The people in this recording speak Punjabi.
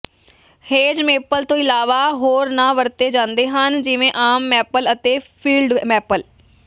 ਹੇਜ ਮੇਪਲ ਤੋਂ ਇਲਾਵਾ ਹੋਰ ਨਾਂ ਵਰਤੇ ਜਾਂਦੇ ਹਨ ਜਿਵੇਂ ਆਮ ਮੈਪਲ ਅਤੇ ਫੀਲਡ ਮੈਪਲ